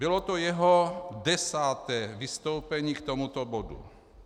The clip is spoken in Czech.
Bylo to jeho desáté vystoupení k tomuto bodu.